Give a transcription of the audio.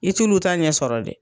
I t'ulu ta ɲɛ sɔrɔ dɛ.